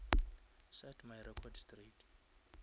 set my record straight